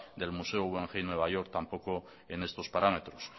del museo guggenheim nueva york tampoco en estos parámetros